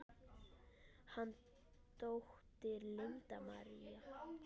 Þín dóttir, Linda María.